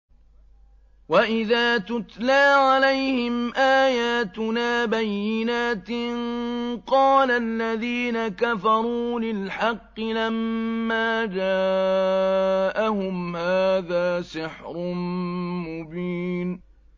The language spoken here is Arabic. وَإِذَا تُتْلَىٰ عَلَيْهِمْ آيَاتُنَا بَيِّنَاتٍ قَالَ الَّذِينَ كَفَرُوا لِلْحَقِّ لَمَّا جَاءَهُمْ هَٰذَا سِحْرٌ مُّبِينٌ